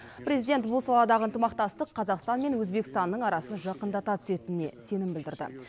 президент бұл саладағы ынтымақтастық қазақстан мен өзбекстанның арасын жақындата түсетініне сенім білдірді